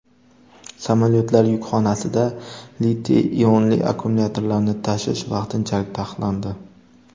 Samolyotlar yukxonasida litiy-ionli akkumulyatorlarni tashish vaqtinchalik taqiqlandi.